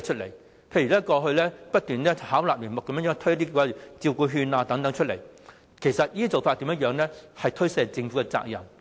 例如過去不斷巧立名目的推行照顧服務券等，這些做法其實顯示了政府是在推卸責任。